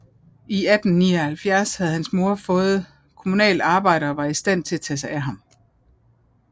I 1879 havde hans mor havde fået kommunalt arbejde og var i stand til at tage sig af ham